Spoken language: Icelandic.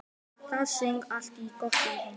Það söng allt gott í henni.